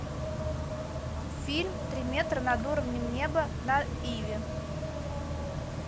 фильм три метра над уровнем неба на иви